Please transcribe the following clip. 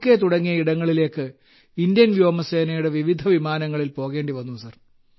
K തുടങ്ങിയ ഇടങ്ങളിലേക്ക് Indian വ്യോമസേനയുടെ വിവിധ വിമാനങ്ങളിൽ പോകേണ്ടി വന്നു സർ